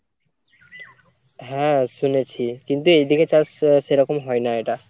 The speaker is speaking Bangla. হ্যাঁ শুনেছি কিন্তু এইদিকে চাষ আহ সেরকম হয় না এটা।